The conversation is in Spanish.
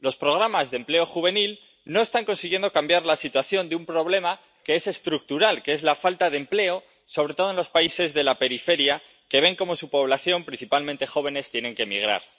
Los programas de empleo juvenil no están consiguiendo cambiar la situación de un problema que es estructural, que es la falta de empleo, sobre todo en los países de la periferia, que ven cómo su población, principalmente jóvenes, tiene que migrar.